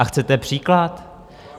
A chcete příklad?